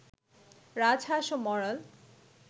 রাজহাঁস ও মরাল